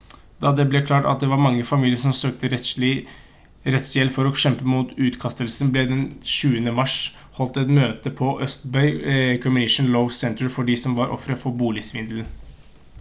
da det ble klart at det var mange familier som søkte rettshjelp for å kjempe mot utkastelsene ble det den 20. mars holdt et møte på østbay community law center for de som var offer for boligsvindelen